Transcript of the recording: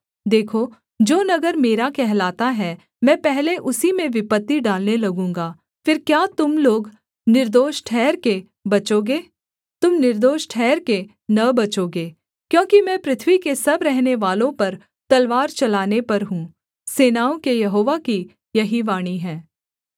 देखो जो नगर मेरा कहलाता है मैं पहले उसी में विपत्ति डालने लगूँगा फिर क्या तुम लोग निर्दोष ठहरके बचोगे तुम निर्दोष ठहरके न बचोगे क्योंकि मैं पृथ्वी के सब रहनेवालों पर तलवार चलाने पर हूँ सेनाओं के यहोवा की यही वाणी है